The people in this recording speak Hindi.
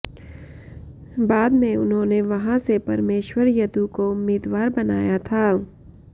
बाद में उन्होंने वहां से परमेश्वर यदु को उम्मीदवार बनाया था